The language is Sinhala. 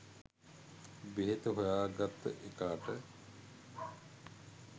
බෙහෙත හොයාගත්ත එකාට